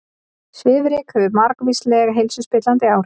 Svifryk hefur margvísleg heilsuspillandi áhrif